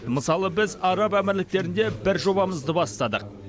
мысалы біз араб әмірліктерінде бір жобамызды бастадық